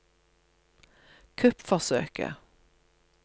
kuppforsøket